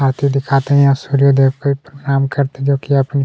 आरती दिखाते हैं और सूर्य देव को प्रणाम करते देखिए अपनी--